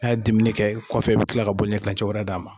N'a ye diminɛ kɛ kɔfɛ i bi kila ka ɲɛ kilancɛ wɛrɛ d'a ma.